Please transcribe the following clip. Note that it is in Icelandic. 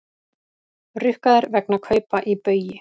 Rukkaðir vegna kaupa í Baugi